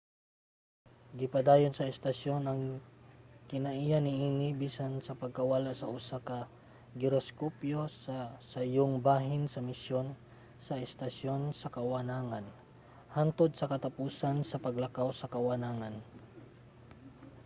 gipadayon sa istasyon ang kinaiya niini bisan sa pagkawala sa usa ka giroskopyo sa sayong bahin sa misyon sa estasyon sa kawanangan hangtod sa katapusan sa paglakaw sa kawanangan